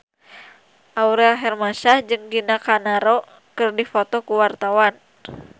Aurel Hermansyah jeung Gina Carano keur dipoto ku wartawan